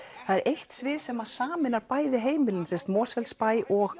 eitt svið sem sameinar bæði heimilin Mosfellsbæ og